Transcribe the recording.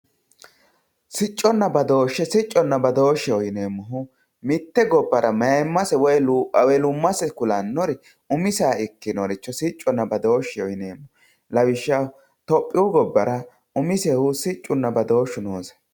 sicconna badooshshe sicconna badoosheho yineemohu mitte gobbara mayiimase kulannori woyi ewelummase kulannori umiseha ikinoricho siccohonna badoosheho yineemo lawishshaho tophiyuu gobbara umisehu siccunna badooshu noose